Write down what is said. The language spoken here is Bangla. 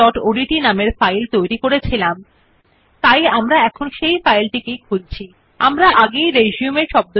আপনি যে শব্দ রিসিউম হল বামে নিরপেক্ষ অর্থাত্ এটা ডকুমেন্টের পৃষ্ঠার বাম মার্জিন প্রতি দেখতে পাবেন So let's select the word and click on align left